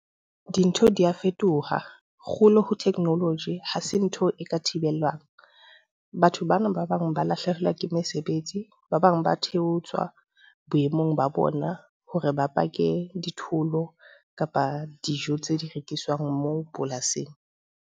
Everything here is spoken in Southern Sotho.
Dintho di a fetoha, kgolo ho technology ha se ntho e ka thibelwang. Batho bana ba bang ba lahlehelwa ke mesebetsi, ba bang ba theoswa boemong ba bona hore ba pake di-tool kapa dijo tseo di rekiswang moo polasing.